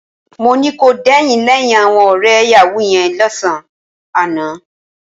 Mo ní kò dẹ̀yìn lẹ́yìn àwọn ọ̀rẹ́ yàwúù yẹn lọ́sàn-án àná